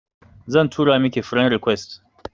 Zan tura miki friend request